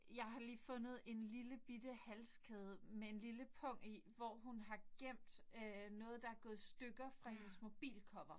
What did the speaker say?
Jeg har lige fundet en lillebitte halskæde med en lille pung i hvor hun har gemt øh noget der var gået i stykker fra hendes mobilcover